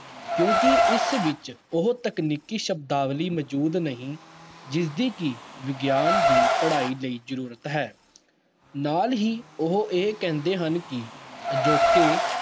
ਕਿਉਂਕਿ ਇਸ ਵਿੱਚ ਉਹ ਤਕਨੀਕੀ ਸ਼ਬਦਾਵਲੀ ਮੌਜੂਦ ਨਹੀਂ, ਜਿਸਦੀ ਕਿ ਵਿਗਿਆਨ ਦੀ ਪੜ੍ਹਾਈ ਲਈ ਜ਼ਰੂਰਤ ਹੈ, ਨਾਲ ਹੀ ਉਹ ਇਹ ਕਹਿੰਦੇ ਹਨ ਕਿ ਅਜੋਕੇ